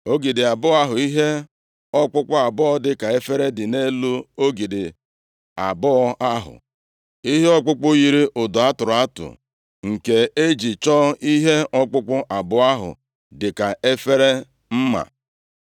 Ogidi abụọ ahụ; ihe ọkpụkpụ abụọ dịka efere dị nʼelu ogidi abụọ ahụ; Ihe ọkpụkpụ yiri ụdọ a tụrụ atụ nke e ji chọọ ihe ọkpụkpụ abụọ ahụ dịka efere mma;